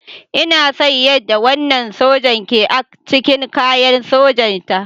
Ina son yadda wannan sojan ke ac cikin kayan sojanta.